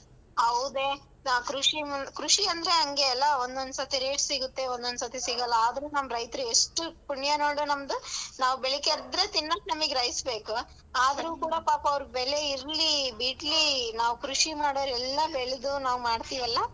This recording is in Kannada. ಹೌದೇ ಆ ಕೃಷಿ ಮು~ ಕೃಷಿ ಅಂದ್ರ್ ಹಂಗೆ ಅಲ್ಲಾ ಒಂದೊಂದ್ ಸರ್ತಿ rates ಸಿಗುತ್ತೆ ಒಂದೊಂದ್ ಸರ್ತಿ ಸಿಗಲ್ಲಾ ಆದ್ರೂ ನಮ್ ರೈತ್ರು ಎಷ್ಟು ಪುಣ್ಯ ನೋಡು ನಮ್ದು ನಾವ್ ಬೆಳ್ಗೆ ಎದ್ರೆ ತಿನ್ನಾಕ್ ನಮಿಗೆ rice ಬೇಕು ಆದ್ರೂ ಕೂಡ ಪಾಪ ಅವ್ರು ಬೆಲೆ ಇಲ್ರಿ ಬಿಡ್ಲಿ ನಾವ್ ಕೃಷಿ ಮಾಡೋವ್ರು ಎಲ್ಲಾ ಬೆಳೆದ್ದು ನಾವ್ ಮಾಡ್ತಿವಲ್ಲಾ?